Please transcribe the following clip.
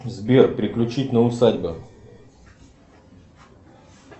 сбер переключить на усадьба